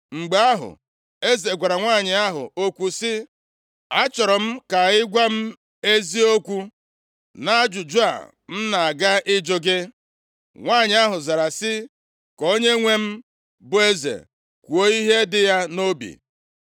Mgbe ahụ, eze gwara nwanyị ahụ okwu sị, “Achọrọ m ka ị gwa m eziokwu nʼajụjụ a m na-aga ịjụ gị.” Nwanyị ahụ zara sị, “Ka onyenwe m, bụ eze kwuo ihe dị ya nʼobi.”